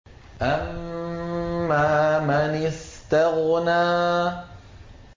أَمَّا مَنِ اسْتَغْنَىٰ